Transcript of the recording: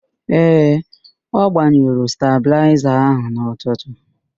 Ee, ọ gbanyụrụ stabịlaịza ahụ n'ụtụtu.